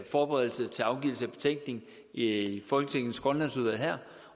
forberedelsen til afgivelse af betænkning i i folketingets grønlandsudvalg her